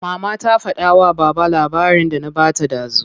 Mama ta fada wa baba labarin da na bata dazu.